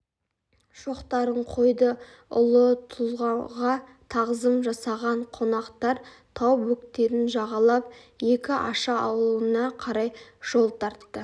шоқтарын қойды ұлы тұлғаға тағзым жасаған қонақтар тау бөктерін жағалап екіаша ауылына қарай жол тартты